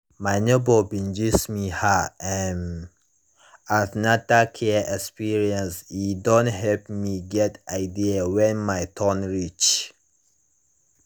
my neighbor bin gist me her um an ten atal care experienceand e don help me get idea when my turn reach